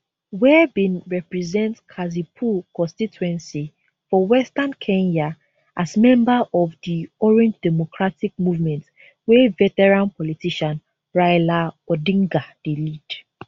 were bin represent kasipul constituency for western kenya as member of di orange democratic movement wey veteran politician raila odinga dey lead